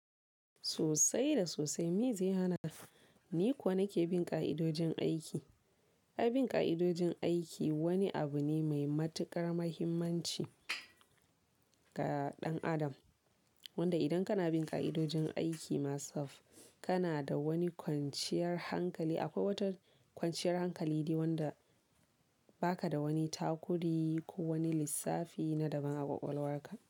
Sosai da sosai me zai hana ni ko nike bin ƙa'idojin aiki? Abin ƙa'idojin aiki wani abu ne mai matuƙar muhimmanci ga ɗan adam. Wanda idan kana bin ƙa'idojin aiki masaf, kana da wani kwanciyar hankali. Akwai wata kwanciyar hankali dai wanda ba ka da wani takudi ko wani lissafi na daban a kwakwalwarka.